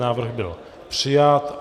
Návrh byl přijat.